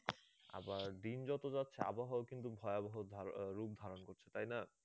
আবার দিন যত যাচ্ছে আবহাওয়া কিন্তু ভয়াবহ রূপ ধারণ করছে, তাই না?